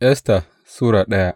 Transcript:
Esta Sura daya